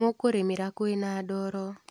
Mũkũrĩmĩra kwĩna ndoro.